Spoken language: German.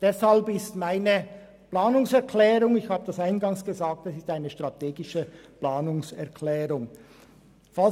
Deshalb habe ich eine strategische Planungserklärung eingereicht, wie ich eingangs erwähnt habe.